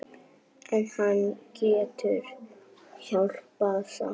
En hann getur hjálpað samt.